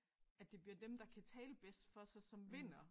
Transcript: At det bliver dem der kan tale bedst for sig som vinder